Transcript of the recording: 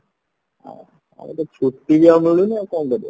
ଆଉ ତ ଛୁଟି ବି ଆଉ ମିଲୁନି ଆଉ କଣ କରିବ